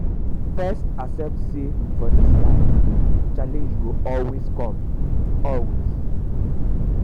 first accept say for dis life challenge go always com always com